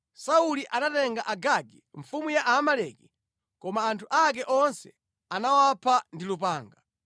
Sauli anatenga Agagi mfumu ya Aamaleki, koma anthu ake onse anawapha ndi lupanga.